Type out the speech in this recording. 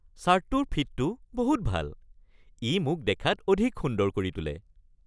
চাৰ্টটোৰ ফিটটো বহুত ভাল। ই মোক দেখাত অধিক সুন্দৰ কৰি তোলে।